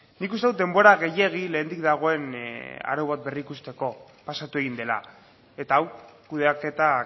nik uste dut denbora gehiegi lehendik dagoen arau bat berrikusteko pasatu egin dela eta hau kudeaketa